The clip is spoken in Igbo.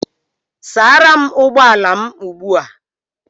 Sara m ụgbọ ala m ugbu a!